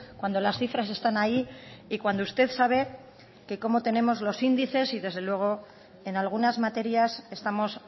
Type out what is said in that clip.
cuando las cifras están ahí y cuando usted sabe que cómo tenemos los índices y desde luego en algunas materias estamos